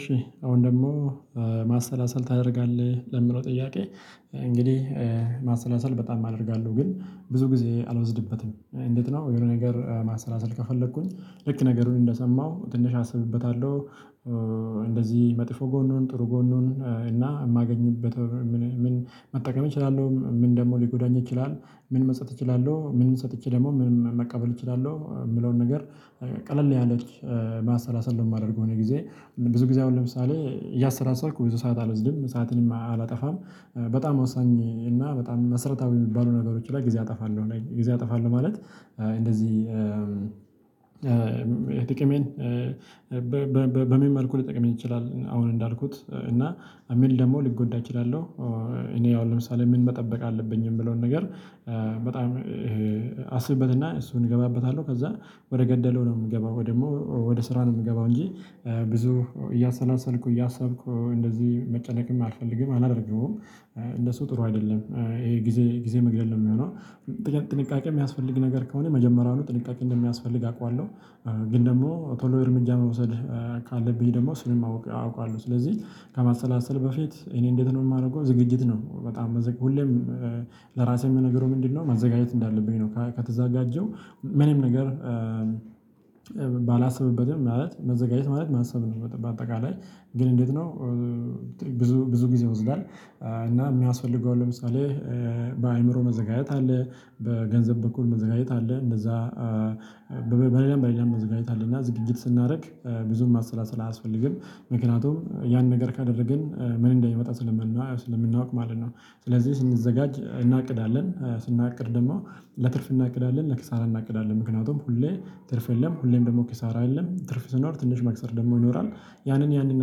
እሺ አሁን ደግሞ ማሰላሰል ታደርጋለህ ለሚለው ጥያቄ? እንግዲህ ማሰላሰል በጣም አደርጋለሁ ግን ብዙ ጊዜ አልወስድበትም። እንዴት ነው የሆነ ነገር ማሰላሰል ከፈለኩኝ ልክ ነገሩን እንደሰማሁ ትንሽ አስብበታለሁ መጥፎ ጎኑን ጥሩ ጎኑን እና የማገኝበት ምን መጠቀም እችላለሁ ምን ደግሞ ሊጎዳኝ ይችላል። ምን መስጠት እችላለሁ ምንም ሰጥቼ ደግሞ ምንም መቀበል እችላለሁ የምለውን ነገር ቀለል ያለ ያለች ማሰላሰል ለማደርገው ነው። ጊዜ ብዙ ጊዜ አሁን ለምሳሌ እያሰላሰልኩኝ ብዙ ሰዓት አልወስድም ሰዓትን አላጠፋም። በጣም ወሳኝ እና በጣም መሰረታዊ የሚባሉ ነገሮች ላይ ጊዜ አጠፋለሁ ጊዜ አጠፋለሁ ማለት እንደዚህ። ጥቅሜን በምን መልኩ ሊጠቅመኝ ይችላል አሁን እንዳልኩት እና አሚል ደግሞ ሊጎዳ እችላለሁ። እኔ ያው ለምሳሌ ምን መጠበቅ አለብኝ የምለውን ነገር። በጣም ይሄ አስብበትና እሱን እገባበታለሁ ከዛ ወደ ገደለው ነው የምገባው ወይ ደግሞ ወደ ስራ ነው የምገባው እንጂ። ብዙ እያሰላሰልኩ እያሰብኩ እንደዚህ መጨነቅም አልፈልግም አላደርገውም። እነሱ ጥሩ አይደለም ይሄ ጊዜ ጊዜ መግደል ነው የሚሆነው። ጥንቃቄ የሚያስፈልግ ነገር ከሆነ መጀመሪያውኑ ጥንቃቄ እንደሚያስፈልግ አውቃለሁ። ግን ደግሞ ቶሎ እርምጃ መውሰድ ካለብኝ ደግሞ እሱንም ማወቅ አውቃለሁ። ስለዚህ ከማሰላሰል በፊት እኔ እንዴት ነው የማደርገው ዝግጅት ነው በጣም ሁሌም ለራሴ የምነግረው ምንድነው ማዘጋጀት እንዳለብኝ ነው። ከተዛጋጀው ምንም ነገር ማለት መዘጋጀት ማለት ማሰብ ነው በጠባብ አጠቃላይ ግን እንዴት ነው? ብዙ ብዙ ጊዜ ይወዝዳል። እና የሚያስፈልገው ለምሳሌ በአእምሮ መዘጋጀት አለ በገንዘብ በኩል መዘጋጀት አለ እንደዛ በሌላ በሌላ መዘጋጀት አለ እና ዝግጅት ስናደርግ ብዙም ማሰላሰል አያስፈልግም። ምክንያቱም ያን ነገር ካደረግን ምን እንደሚመጣ ስለምናውቅ ማለት ነው። ስለዚህ ስንዘጋጅ እናቅዳለን ስናቅድ ደግሞ ለትርፍ እናቅዳለን ለክሳራ እናቅዳለን ምክንያቱም ሁሌ ትርፍ የለም ሁሌም ደግሞ ኪሳራ የለም ትርፍ ስኖር ትንሽ መክሰር ደግሞ ይኖራል። ያንን ያንን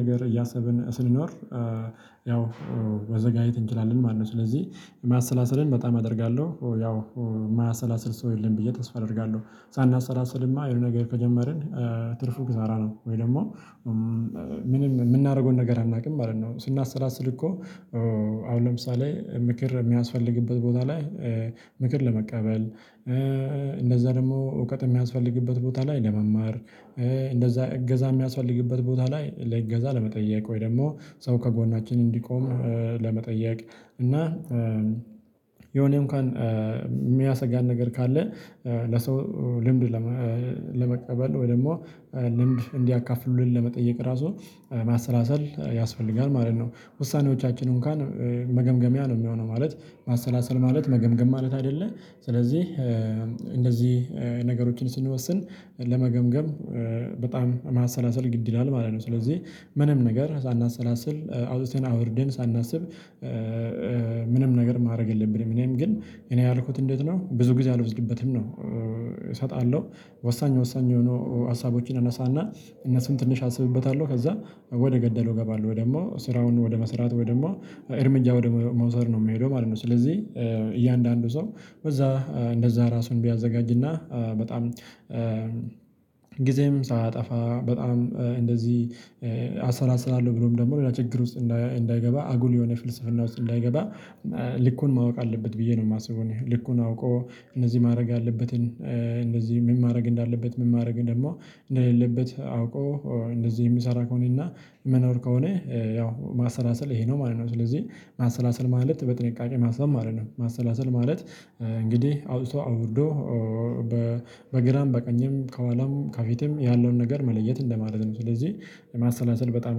ነገር እያሰብን ስንኖር ያው መዘጋጀት እንችላለን ማለት ነው። ስለዚህ ማሰላሰልን በጣም አደርጋለሁ ያው የማያሰላስል ሰው የለም ብዬ ተስፋ አደርጋለሁ። ሳናሰላስልማ የሆነ ነገር ከጀመርን ትርፉ ክሳራ ነው ወይ ደግሞ ምንም የምናደርገውን ነገር አናውቅም ማለት ነው። ስናሰላስል እኮ አሁን ለምሳሌ ምክር የሚያስፈልግበት ቦታ ላይ። ምክር ለመቀበል። እንደዛ ደግሞ እውቀት የሚያስፈልግበት ቦታ ላይ ለመማር እንደዛ እገዛ የሚያስፈልግበት ቦታ ላይ ለእገዛ ለመጠየቅ ወይ ደግሞ ሰው ከጎናችን እንዲቆም። ለመጠየቅ። እና የሆነ እንኳን የሚያሰጋን ነገር ካለ ለሰው ልምድ ለመቀበል ወይ ደግሞ ልምድ እንዲያካፍሉልን ለመጠየቅ ራሱ ማሰላሰል ያስፈልጋል ማለት ነው። ውሳኔዎቻችን እንኳን መገምገሚያ ነው የሚሆነው ማለት ማሰላሰል ማለት መገምገም ማለት አይደለም። ስለዚህ እንደዚህ ነገሮችን ስንወስን ለመገምገም በጣም ማሰላሰል ግድ ይላል ማለት ነው። ስለዚህ ምንም ነገር ሳናሰላስል አውጥተን አውርደን ሳናስብ ምንም ነገር ማድረግ የለብንም። እኔም ግን እኔ ያልኩት እንዴት ነው ብዙ ጊዜ አልወዝድበትም ነው። እሰጣለሁ ወሳኝ ወሳኝ የሆኑ ሀሳቦችን አነሳና እነሱም ትንሽ አስብበታለሁ ከዛ ወደ ገደለው እገባለሁ ወይ ደግሞ ስራውን ወደ መስራት ወይ ደግሞ እርምጃ ወደ መውሰድ ነው የሚሄደው ማለት ነው። ስለዚህ እያንዳንዱ ሰው በዛ እንደዛ ራሱን ቢያዘጋጅና በጣም ጊዜም ሳያጠፋ በጣም እንደዚህ አሰላስላለሁ ብሎም ደግሞ ለችግር ውስጥ እንዳይገባ አጉል የሆነ ፍልስፍና ውስጥ እንዳይገባ። ልኩን ማወቅ አለበት ብዬ ነው የማስበው። ልኩን አውቆ እነዚህ ማድረግ ያለበትን እንደዚህ ምን ማድረግ እንዳለበት ምን ማድረግ ደግሞ እንደሌለበት አውቆ እንደዚህ የሚሰራ ከሆነና መኖር ከሆነ ያው ማሰላሰል ይሄ ነው ማለት ነው። ስለዚህ ማሰላሰል ማለት በጥንቃቄ ማሰላሰል ማለት ነው። ማሰላሰል ማለት እንግዲህ አውጥቶ አውርዶ በግራም በቀኝም ከኋላም ከፊትም ያለውን ነገር መለየት እንደማለት ነው። ስለዚህ የማሰላሰል በጣም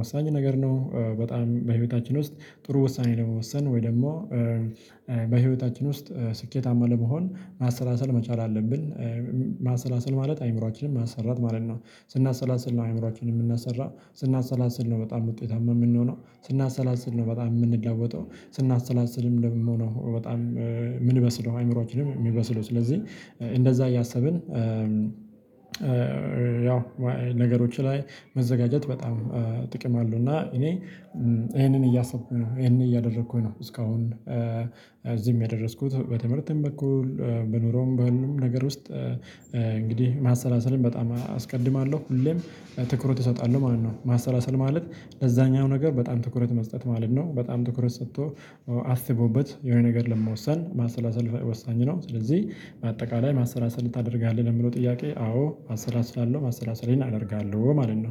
ወሳኝ ነገር ነው። በጣም በህይወታችን ውስጥ ጥሩ ወሳኔ ለመወሰን ወይ ደግሞ በህይወታችን ውስጥ ስኬታማ ለመሆን ማሰላሰል መቻል አለብን። ማሰላሰል ማለት አእምሮአችንን ማሰራት ማለት ነው። ስናሰላስል ነው አእምሮአችንን የምናሰራ ስናሰላስል ነው በጣም ውጤታማ የምንሆነው ስናሰላስል ነው በጣም የምንለወጠው ስናሰላስልም ደግሞ ነው በጣም የምንበስለው። አይምሮአችንም የሚበስለው ስለዚህ እንደዛ እያሰብን። ያው ነገሮች ላይ መዘጋጀት በጣም ጥቅም አሉ እና እኔ ይሄንን እያሰብኩ ነው ይሄንን እያደረኩኝ ነው እስካሁን የደረስኩት በትምህርትም በኩል በኑሮም በሁሉም ነገር ውስጥ እንግዲህ ማሰላሰልም በጣም አስቀድማለሁ ሁሌም ትኩረት እሰጣለሁ ማለት ነው። ማሰላሰል ማለት ለዛኛው ነገር በጣም ትኩረት መስጠት ማለት ነው። በጣም ትኩረት ሰጥቶ አስቦበት የሆነ ነገር ለመወሰን ማሰላሰል ወሳኝ ነው። ስለዚህ በአጠቃላይ ማሰላሰል ታደርጋለህ ለምለው ጥያቄ? አዎ አሰላስላለሁ ማሰላሰሌን አደርጋለሁ ማለት ነው